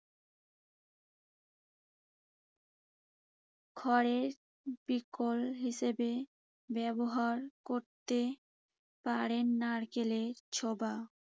খড়ের বিকল্প হিসেবে ব্যবহার করতে পারেন নারকেলের ছোবা।